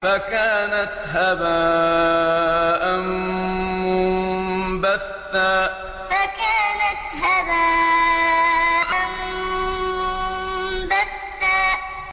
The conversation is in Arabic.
فَكَانَتْ هَبَاءً مُّنبَثًّا فَكَانَتْ هَبَاءً مُّنبَثًّا